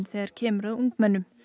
þegar kemur að ungmennum